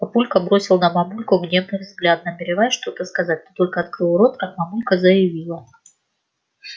папулька бросил на мамульку гневный взгляд намереваясь что-то сказать но только открыл рот как мамулька заявила